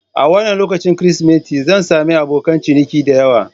A wannan lokacin Kirsimeti, zan sami abokan ciniki da yawa.